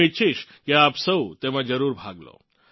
હું ઇચ્છિશ કે આપ સૌ તેમાં જરૂર ભાગ લો